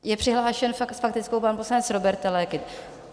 Je přihlášen s faktickou pan poslanec Róbert Teleky.